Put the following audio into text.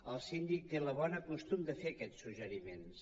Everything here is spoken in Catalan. el síndic té el bon costum de fer aquests suggeriments